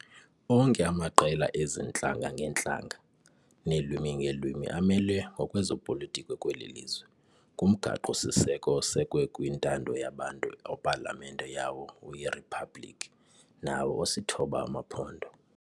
Onke amaqela ezi ntlanga-ngeentlanga neelwimi-ngeelwimi amelwe ngokwezopolitiko kweli lizwe, kumgaqo siseko osekwe kwintando yabantu, opalamente yawo uyiRhiphablikhi, nawo osithoba amaphondo.